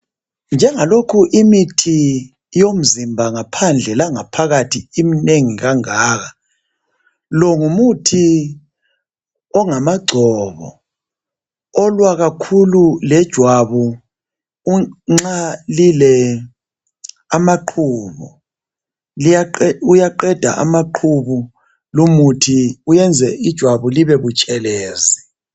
Njengalokhu imithi yomzimba ngaphandle langaphakathi imnengi kangaka. Lo ngumuthi ongamagcobo olwakakhulu lejwabu nxa lile amaqhubu uyaqeda amaqhubu lumuthi uyenze ijwabu libe butshelezi.